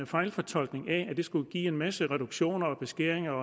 fejlfortolkning at skulle give en masse reduktioner og beskæringer